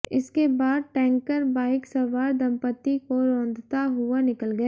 इसके बाद tanker bike सवार दंपती को रौंदता हुआ निकल गया